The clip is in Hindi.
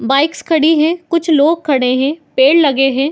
बाइक्स खड़ी है कुछ लोग खड़े है पेड़ लगे है ।